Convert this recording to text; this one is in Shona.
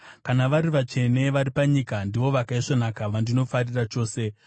Kana vari vatsvene vari panyika, ndivo vakaisvonaka vandinofarira chose.